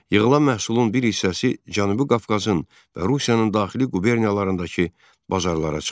Yığılan məhsulun bir hissəsi Cənubi Qafqazın və Rusiyanın daxili quberniyalarındakı bazarlara çıxarılırdı.